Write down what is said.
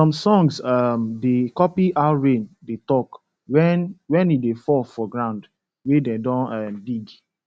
some songs um da copy how rain dey talk wen wen e fall for ground wey dem don um dig